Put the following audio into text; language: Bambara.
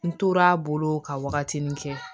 N tora bolo ka wagatinin kɛ